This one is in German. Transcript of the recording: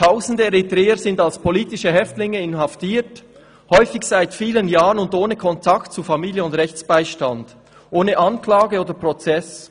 «Tausende Eritreer sind als politische Häftlinge inhaftiert, häufig seit vielen Jahren und ohne Kontakt zu Familien und Rechtsbeistand, ohne Anklage oder Prozess.